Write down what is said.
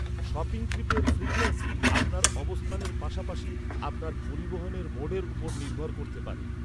Shopping ট্রিপের frequency আপনার অবস্থানের পাশাপাশি আপনার পরিবহনের মোডের উপর নির্ভর করতে পারে।